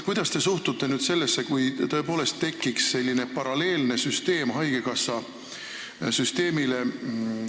Kuidas te suhtute sellesse, kui tõepoolest tekiks säärane haigekassaga paralleelne süsteem?